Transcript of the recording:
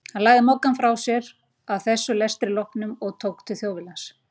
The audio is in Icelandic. Hann lagði Moggann frá sér að þessum lestri loknum og tók til Þjóðviljans.